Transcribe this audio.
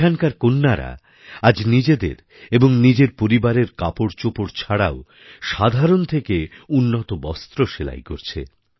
এখানকারকন্যারা আজ নিজের এবং নিজের পরিবারের কাপড়চোপড় ছাড়াও সাধারণ থেকে উন্নত বস্ত্র সেলাই করছে